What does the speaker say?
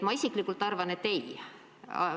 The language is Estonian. Ma isiklikult arvan, et ei.